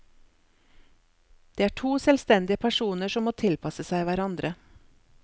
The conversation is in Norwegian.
Det er to selvstendige personer som må tilpasse seg hverandre.